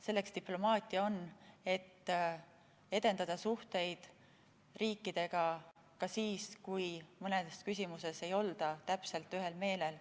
Selleks diplomaatia ongi, et edendada suhteid riikidega ka siis, kui mõnedes küsimustes ei olda täpselt ühel meelel.